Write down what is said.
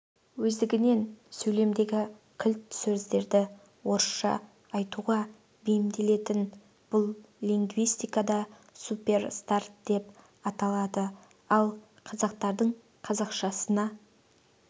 өздігінен сөйлемдеріндегі кілт сөздерді орысша айтуға бейімделетін бұл лингвистикада суперстрат деп аталады ал қазақтардың қазақшасына